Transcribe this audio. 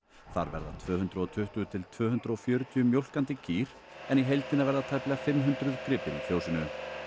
þar verða tvö hundruð og tuttugu til tvö hundruð og fjörutíu mjólkandi kýr en í heildina verða tæplega fimm hundruð gripir í fjósinu